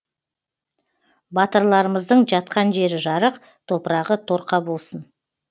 батырларымыздың жатқан жері жарық топырағы торқа болсын